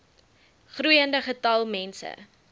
groeiende getal mense